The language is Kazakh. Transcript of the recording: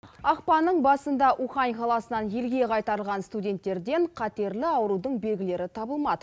ақпанның басында ухань қаласынан елге қайтарылған студенттерден қатерлі аурудың белгілері табылмады